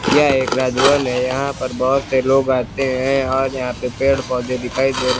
यह एक राज भवन है। यहां पर बहोत से लोग आते है और यहां पे पेड़ पौधे दिखाई दे रहे --